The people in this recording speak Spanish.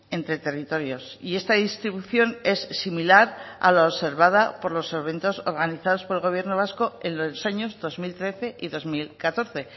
entre territorios y esta distribución es similar a la observada por los eventos organizados por el gobierno vasco en los años dos mil trece y dos mil catorce